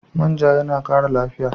Man ja yana ƙara lafiya.